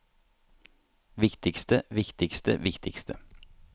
viktigste viktigste viktigste